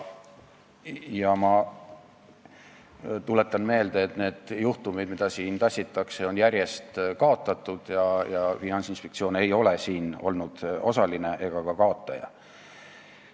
Ma tuletan meelde, et need juhtumid, mida siia tassitakse, on järjest kaotatud ja Finantsinspektsioon ei ole olnud neis osaline ega ka kaotaja.